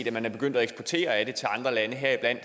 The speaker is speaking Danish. at man er begyndt at eksportere af den til andre lande heriblandt